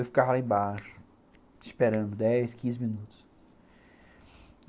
Eu ficava lá embaixo, esperando dez, quinze minutos.